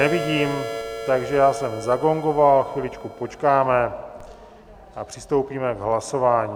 Nevidím, takže já jsem zagongoval, chviličku počkáme a přistoupíme k hlasování.